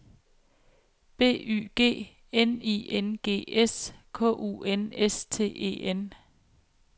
B Y G N I N G S K U N S T E N